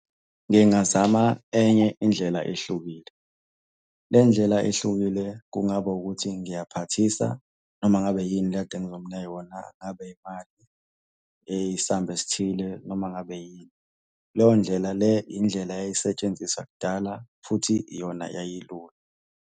Ngingazama enye indlela ehlukile. Le ndlela ehlukile kungaba ukuthi ngiyaphathisa noma ngabe yini le ekade ngizomunika yona, ngabe imali eyisamba esithile noma ngabe yini. Leyo ndlela leyo indlela eyayisetshenziswa kudala futhi iyona yayilula.